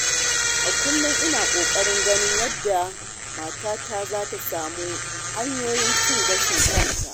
A kullum ina ƙoƙarin ganin yadda matata za ta samu hanyoyin cin gashin kanta.